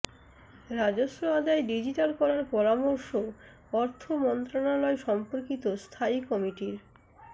রাজস্ব আদায় ডিজিটাল করার পরামর্শ অর্থ মন্ত্রণালয় সম্পর্কিত স্থায়ী কমিটির